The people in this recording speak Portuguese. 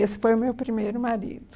Esse foi o meu primeiro marido.